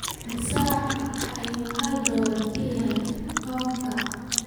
Immisa ayuu hal dollar ka yahay pound-ka?